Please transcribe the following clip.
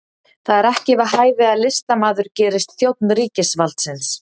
Það er ekki við hæfi að listamaður gerist þjónn ríkisvaldsins